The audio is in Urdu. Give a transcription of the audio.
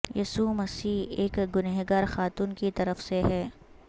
یسوع مسیح ایک گنہگار خاتون کی طرف سے ہے